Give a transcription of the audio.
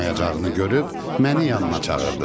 Bacarmayacağını görüb məni yanına çağırdı.